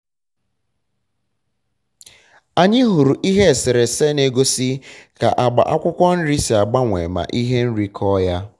anyị hụrụ ihe eserese na-egosi ka agba akwụkwọ nrị si agbanwe ma ihe nri kọọ ha